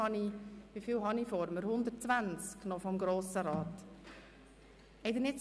Nun habe ich hier im Saal noch ungefähr 120 Personen des Grossen Rats vor mir.